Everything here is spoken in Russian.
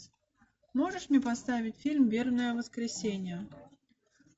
можешь мне поставить фильм вербное воскресенье